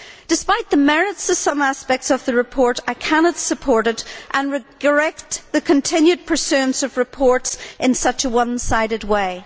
Despite the merits of some aspects of the report, I cannot support it and regret the continued pursuance of reports in such a one sided way.